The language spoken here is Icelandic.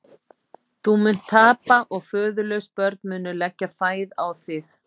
Þú munt tapa og föðurlaus börn munu leggja fæð á þig.